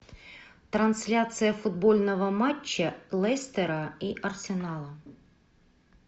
трансляция футбольного матча лестера и арсенала